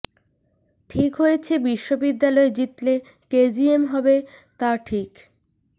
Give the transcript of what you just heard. ঠিক হয়েছে বিশ্ববিদ্যালয়ে জিতলে কে জি এম হবে তা ঠিক